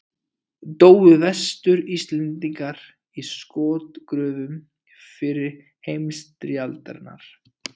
Dóu Vestur-Íslendingar í skotgröfum fyrri heimstyrjaldarinnar?